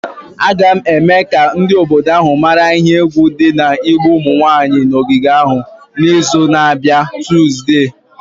A ga-eme ka ndị obodo ahụ mara ihe egwu dị n'igbu ụmụ nwanyị n'ogige ahụ n'izu na-abịa Tuzdee.